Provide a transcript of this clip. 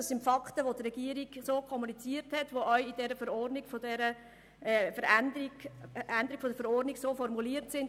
Das sind Fakten, wie sie von der Regierung kommuniziert wurden und in der Verordnungsänderung formuliert sind.